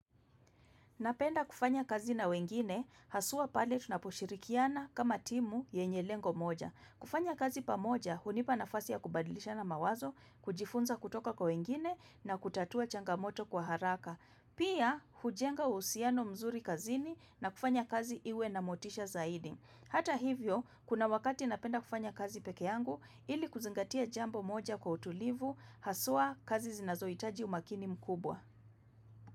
Napenda kufanya kazi na wengine, haswa pale tunaposhirikiana kama timu yenye lengo moja. Kufanya kazi pamoja, hunipa nafasi ya kubadilishana mawazo, kujifunza kutoka kwa wengine na kutatua changamoto kwa haraka. Pia, hujenga uhusiano mzuri kazini na kufanya kazi iwe na motisha zaidi. Hata hivyo, kuna wakati napenda kufanya kazi peke yangu, ili kuzingatia jambo moja kwa utulivu, haswa kazi zinazoitaji umakini mkubwa.